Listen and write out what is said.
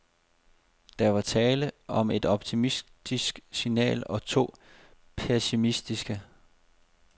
Der var tale om et optimistisk signal og to pessimistiske.